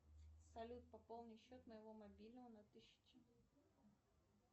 салют пополни счет моего мобильного на тысячу